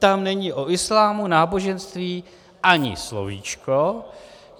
Tam není o islámu, náboženství ani slovíčko.